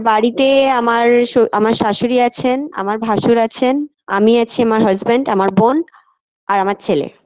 বাড়িতে আমার শো আমার শাশুড়ি আছেন আমার ভাসুর আছেন আমি আছি আমার husband আমার বোন আর আমার ছেলে